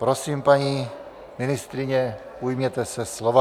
Prosím, paní ministryně, ujměte se slova.